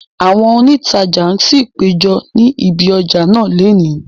Àwọn òǹtajà ṣì péjọ ni ibi ọjà náà lónìí